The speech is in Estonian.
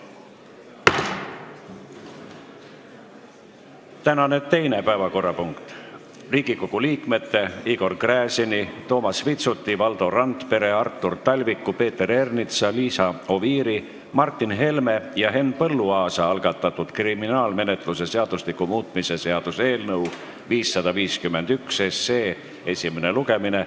Tänane teine päevakorrapunkt: Riigikogu liikmete Igor Gräzini, Toomas Vitsuti, Valdo Randpere, Artur Talviku, Peeter Ernitsa, Liisa Oviiri, Martin Helme ja Henn Põlluaasa algatatud kriminaalmenetluse seadustiku muutmise seaduse eelnõu 551 esimene lugemine.